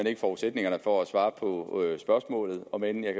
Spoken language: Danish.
ikke forudsætningerne for at svare på spørgsmålet om end jeg